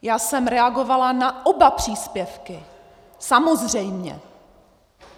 Já jsem reagovala na oba příspěvky, samozřejmě.